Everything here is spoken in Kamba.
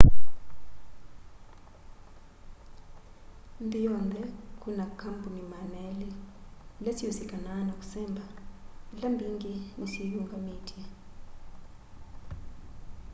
nthi yonthe kwina kambuni 200 ila siusikanaa na kũsemba ila mbingi ni syiinyungamitye